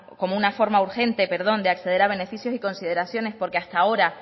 como una forma urgente de acceder a beneficios y consideraciones porque hasta ahora